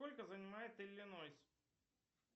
сколько занимает иллинойс